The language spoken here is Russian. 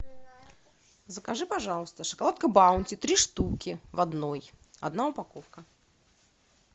закажи пожалуйста шоколадка баунти три штуки в одной одна упаковка